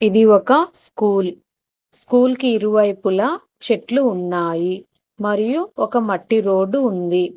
ఇది ఒక school school ఇరు వైపులా చెట్లు ఉన్నాయి మరియు ఒక మట్టి రోడ్డు ఉంది.